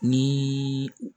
Ni